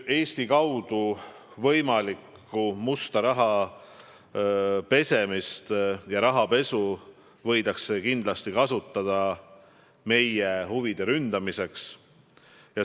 Võimalikku musta raha pesemist Eesti kaudu võidakse kindlasti kasutada meie huvide ründamiseks.